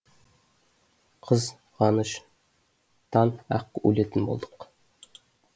қыз ғаныш тан ақ өлетін болдық